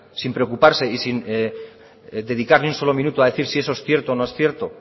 sin preocuparse y sin dedicar ni un solo minuto a decir si eso es cierto o no es cierto